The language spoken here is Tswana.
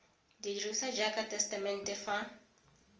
dirisiwa jaaka tesetamente fa